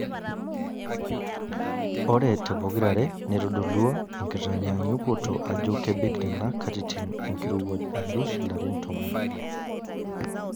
Ore tepokirare neitodolua enkitanyaanyukoto ajo kebik nena katitin enkirowuaj alus larin tomon.